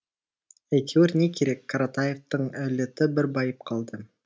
әйтеуір не керек қаратаевтар әулеті бір байып қалды